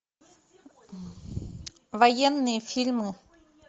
военные фильмы